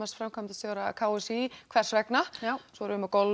framkvæmdastjóra k s í hvers vegna svo er golf